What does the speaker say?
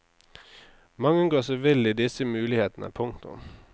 Mange går seg vill i disse mulighetene. punktum